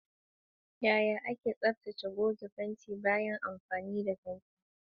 Yaya ake tsaftace goge fenti bayan amfani da fenti?